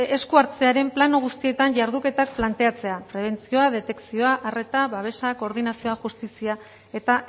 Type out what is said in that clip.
esku hartzearen plano guztietan jarduketak planteatzea prebentzioa detekzioa arreta babesa koordinazioa justizia eta